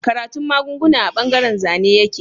Karatun magunguna a bangaren Zane yake